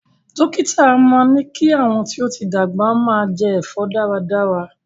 Dókítà a máa ní kí àwọn tí ó ti dàgbà máa jẹ ẹ̀fọ́ dára dára